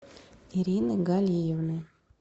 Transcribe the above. ирины галиевны